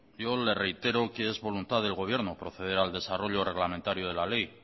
yo le reitero que es voluntad del gobierno proceder al desarrollo reglamentario de la ley